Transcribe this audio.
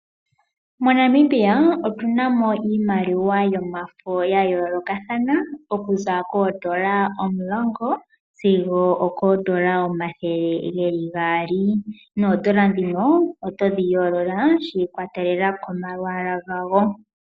MoNamibia otu namo iimaliwa yomafo yayolokathana. Oku za koodollar omulongo sigo okoodollar omathele geli gaali. Noodollar dhino oto dhi yolola shi ikwatelela komalwaala gadho.